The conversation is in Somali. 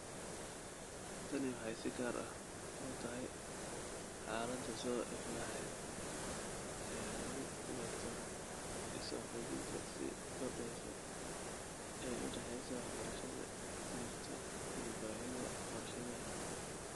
Tani waxay si gaar ah u tahay xaaladda soo ifbaxa ee lagu garto is-waafajinta sii kordhaysa ee u dhaxaysa waxbarashada jirta iyo baahida warshadaha.